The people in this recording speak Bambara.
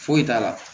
Foyi t'a la